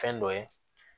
Fɛn dɔ ye